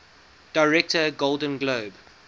director golden globe